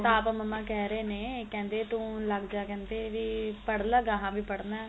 ਤਾਂ ਆਪ ਮਮਾ ਕਹਿ ਰਹੇ ਨੇ ਕਹਿੰਦੇ ਤੂੰ ਲੱਗ ਜਾ ਕਹਿੰਦੇ ਵੀ ਪੜ ਲੈ ਗਾਂਹ ਵੀ ਪੜਨਾ